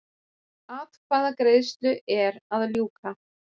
Atkvæðagreiðslu er að ljúka